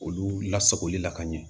Olu lasagoli la ka ɲɛ